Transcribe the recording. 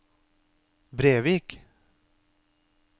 Brevik